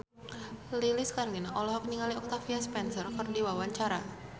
Lilis Karlina olohok ningali Octavia Spencer keur diwawancara